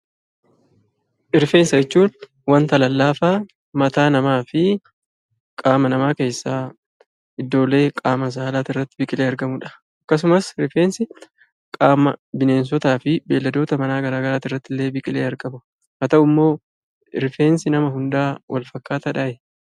Rifeensa jechuun waan lallaafaa mataa namaa fi qaama namaa keessaa iddoolee qaama saalaa irratti biqilee argamudha. Akkasumas rifeensi qaama beelladootaa fi bineensota adda addaa irraatti biqilee argama. Haa ta'u malee rifeensi nama hundaa wak fakkaataadhaa?